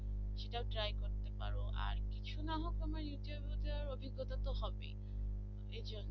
ও তোমার interview দেওয়ার অভিজ্ঞতা তো হবেই এর জন্য